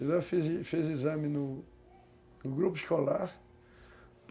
De lá eu fiz fiz exame no grupo escolar.